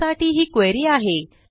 त्यासाठी ही क्वेरी आहे